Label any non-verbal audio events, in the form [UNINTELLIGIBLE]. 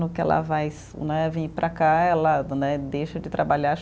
No que ela vai né vir para cá, ela né deixa de trabalhar. [UNINTELLIGIBLE]